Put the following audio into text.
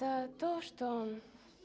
да то что